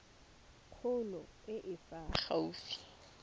kgolo e e fa gaufi